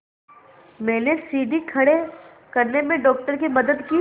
मैंने सीढ़ी खड़े करने में डॉक्टर की मदद की